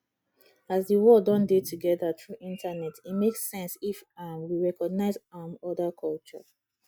as di world don dey together through internet e make sense if um we recognise um oda culture